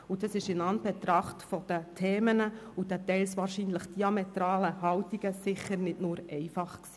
Dies war in Anbetracht der Themen und der teils diametral auseinanderliegenden Haltungen sicher nicht nur einfach.